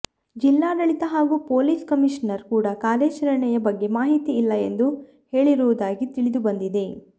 ಜಿಲ್ಲಾಡಳಿತ ಹಾಗೂ police commissioner ಕೂಡಾ ಕಾರ್ಯಾಚರಣೆಯ ಬಗ್ಗೆ ಮಾಹಿತಿ ಇಲ್ಲ ಎಂದು ಹೇಳಿರುವುದಾಗಿ ತಿಳಿದುಬಂದಿದೆ